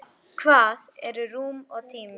Hvað eru rúm og tími?